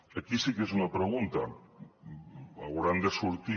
aquí sí que és una pregunta hauran de sortir